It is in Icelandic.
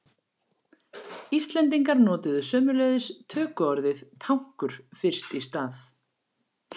Íslendingar notuðu sömuleiðis tökuorðið tankur fyrst í stað.